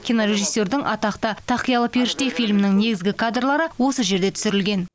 кинорежиссердің атақты тақиялы періште фильмінің негізгі кадрлары осы жерде түсірілген